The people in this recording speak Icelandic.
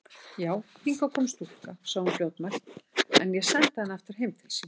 Já, hingað kom stúlka, sagði hún fljótmælt,-en ég sendi hana aftur heim til sín.